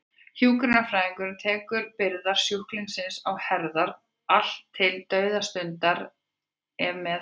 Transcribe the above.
Hjúkrunarfræðingurinn tekur byrðar sjúklingsins á sínar herðar, allt til dauðastundar ef með þarf.